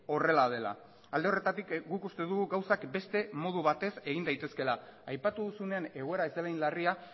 horrela dela alde horretatik guk uste dugu gauzak beste modu batez egin daitezkeela aipatu duzunean egoera ez dela hain larria